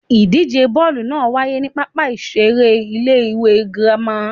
Ìdíje bọ́ọ̀lù naa n waye ni pápá ìseré Ilé ìwé Girama